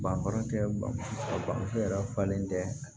Banfura tɛ bamuso bamuso yɛrɛ falen tɛ